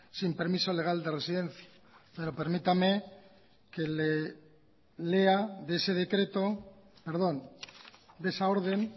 sin permiso legal de residencia pero permítame que le lea de ese decreto perdón de esa orden